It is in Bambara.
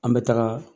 An bɛ taga